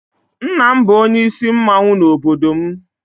nna m bu onye isi mmanwu n'obodo m.